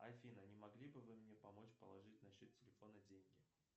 афина не могли бы вы мне помочь положить на счет телефона деньги